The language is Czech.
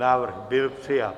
Návrh byl přijat.